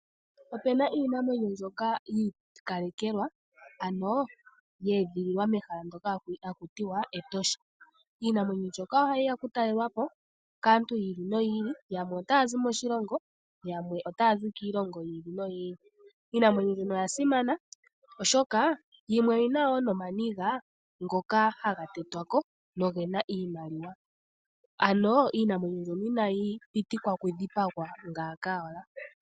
Ope na iinamwenyo mbyoka yi ikalekelwa, ano ye edhililwa mehala ndyoka hali ithanwa Etosha. Iinamwenyo mbyoka ohayi ya okutalelwa po kaantu yi ili noyi ili, yamwe otaya zi moshilongo yamwe otaya zi kiilongo yi ili noyi ili. Iinamwenyo mbyono oya simana, oshoka yimwe oyi na wo nomaniga ngoka haga tetwa ko noge na iimaliwa. Ano iinamwenyo mbyono inayi pitikwa okudhipagwa ngaaka owala.